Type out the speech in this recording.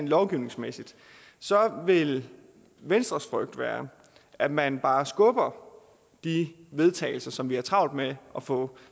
lovgivningsmæssigt så vil venstres frygt være at man bare skubber de vedtagelser som vi har travlt med at få